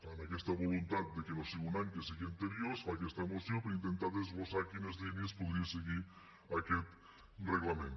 amb aquesta voluntat de que no sigui un any que sigui anterior es fa aquesta moció per intentar desglossar quines línies podria seguir aquest reglament